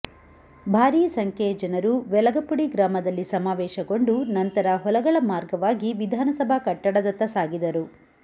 ಭಾರಿ ಸಂಖ್ಯೆಯ ಜನರು ವೆಲಗಪುಡಿ ಗ್ರಾಮದಲ್ಲಿ ಸಮಾವೇಶಗೊಂಡು ನಂತರ ಹೊಲಗಳ ಮಾರ್ಗವಾಗಿ ವಿಧಾನಸಭಾ ಕಟ್ಟಡದತ್ತ ಸಾಗಿದರು